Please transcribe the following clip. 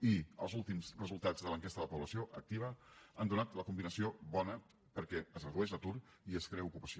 i els últims resultats de l’enquesta de la població activa han donat la combinació bona perquè es redueix l’atur i es crea ocupació